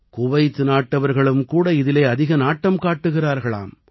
Kuwait நாட்டவர்களும் கூட இதிலே அதிக நாட்டம் காட்டுகிறார்களாம்